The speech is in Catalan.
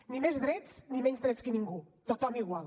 ni més drets ni menys drets que ningú tothom igual